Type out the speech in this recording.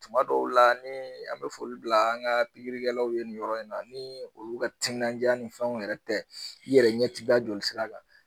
Tuma dɔw la ni an bɛ foli bila an ka piirikɛlaw ye nin yɔrɔ in na ni olu ka timinanjaa ni fɛnw yɛrɛ tɛ i yɛrɛ ɲɛ ti da jolisira kan.